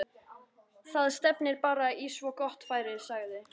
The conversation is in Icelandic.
Það stefnir bara í svo gott færi sagði